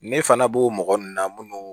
Ne fana b'o mɔgɔ nunnu na munnu